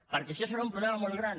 perquè això serà un problema molt gran